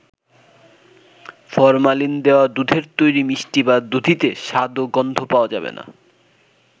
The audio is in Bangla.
ফরমালিন দেওয়া দুধের তৈরি মিষ্টি বা দধিতে স্বাদ ও গন্ধ পাওয়া যাবে না।